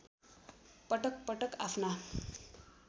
पटक पटक आफ्ना